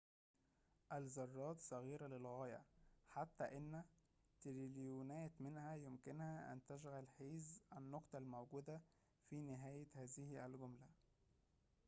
الذرات صغيرة للغاية حتى أن تريليونات منها يمكنها أن تشغل حيز النقطة الموجودة في نهاية هذه الجملة